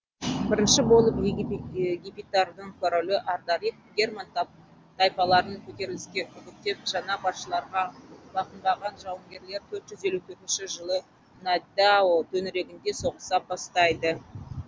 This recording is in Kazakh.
бірінші болып гепидтардың королі ардарих герман тайпаларын көтеріліске үгіттеп жаңа басшыларға бағынбаған жаугерлер төрт жүз елу төртінші жылы недао төңірегінде соғыса бастайды